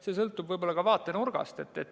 See sõltub võib-olla ka vaatenurgast.